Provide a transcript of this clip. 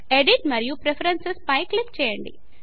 edit మరియు preferences పై click చేయండి